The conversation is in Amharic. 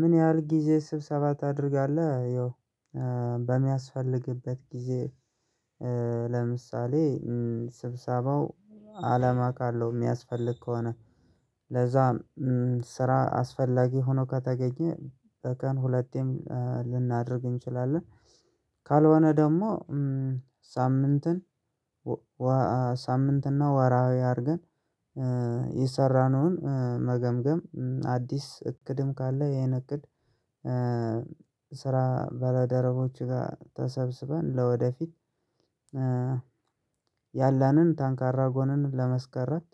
ምን ያህል ጊዜ ስብሰባ ታደርጋለህ? ያው በሚያስፈልግበት ጊዜ። ለምሳሌ ስብሰባው አላማ ካለው የሚያስፈልግ ከሆነ። ለዛም ስራ አስፈላጊ ሆኖ ከተገኘ በቀን ሁለቴም ልናደርግ እንችላለን። ካልሆነ ደግሞ ሳምንትን ሳምንትና ወራዊ አድርገን የሰራነውን መገምገም አዲስ እቅድም ካለ ይሄን እቅድ ስራ ባለደረቦች ጋር ተሰብስበን ለወደፊት ያለንን ታንካራ ጎንን ለመስከረት